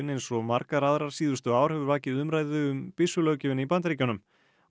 eins og margar aðrar síðustu ár hefur vakið umræðu um í Bandaríkjunum